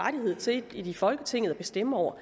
rettighed til i folketinget at bestemme over